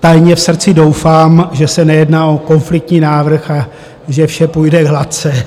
tajně v srdci doufám, že se nejedná o konfliktní návrh a že vše půjde hladce.